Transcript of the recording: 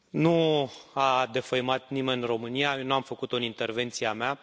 Nu a defăimat nimeni România, eu nu am făcut o în intervenția mea.